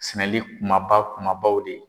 Sɛnɛli kumaba kumabaw de ye.